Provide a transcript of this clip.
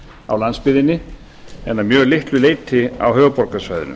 á landsbyggðinni en að mjög litlu leyti á höfuðborgarsvæðinu